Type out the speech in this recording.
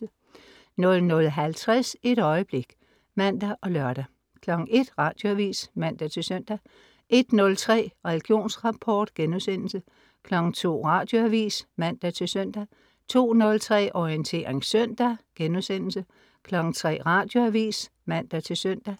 00.50 Et øjeblik* (man og lør) 01.00 Radioavis (man-søn) 01.03 Religionsrapport* 02.00 Radioavis (man-søn) 02.03 Orientering søndag* 03.00 Radioavis (man-søn)